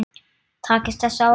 Takist þessi áætlun